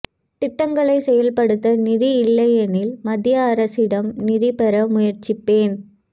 திட்டங்களை செயல்படுத்த நிதி இல்லையெனில் மத்திய அரசிடம் நிதி பெற முயற்சிப்பேன்